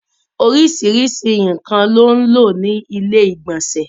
Òrisísírísì nkan ló n lọ ní ilẹ̀-ìgbọ̀nsẹ̀.